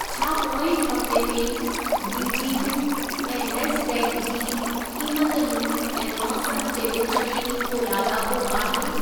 छा पोएं हफ़्ते में बीजिंग ऐं नैस्डैक़ जी क़ीमतुनि ऐं मौसम जे विच में को लाॻापो आहे?